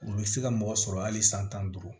U bɛ se ka mɔgɔ sɔrɔ hali san tan ni duuru